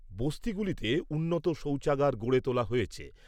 বস্তিগুলিতে উন্নত শৌচাগার গড়ে তোলা হয়েছে।